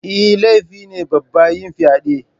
Eh, laifi ne babba yin fyade6